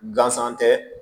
Gansan tɛ